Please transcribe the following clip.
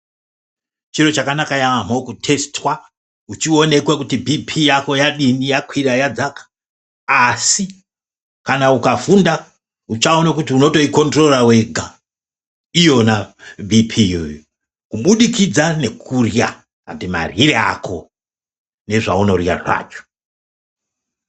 Chiro chakanaka yaamho kutesitwa uchionekwe kuti bhipii yako yadini yakwira yadzaka asi kana ukafunda uchaona kuti unotoikondirora wega iyona bhipii iyoyo kubudikidza nekurya ende maryire ako nezvaunorya zvacho.